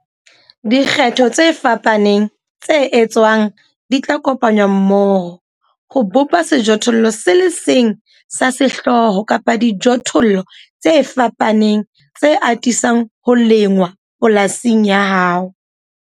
Dikgetho tse fapaneng tse etswang di tla kopanngwa mmoho ho bopa sejothollo se le seng sa sehlooho kapa dijothollo tse fapaneng tse atisang ho lengwa polasing ya hao.